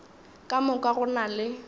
ka moka go na le